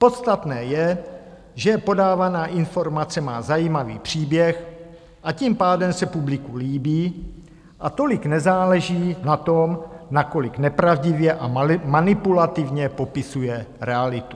Podstatné je, že podávaná informace má zajímavý příběh, a tím pádem se publiku líbí a tolik nezáleží na tom, nakolik nepravdivě a manipulativně popisuje realitu.